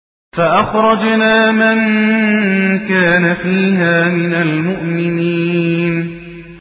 فَأَخْرَجْنَا مَن كَانَ فِيهَا مِنَ الْمُؤْمِنِينَ